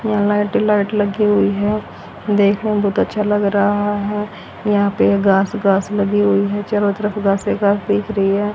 यहां लाइट ही लाइट लगी हुई है देखने में बहुत अच्छा लग रहा है यहां पर घास घास लगी हुई है चारों तरफ घास ही घास दिख रही है।